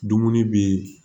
Dumuni bɛ yen